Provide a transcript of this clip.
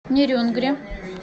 нерюнгри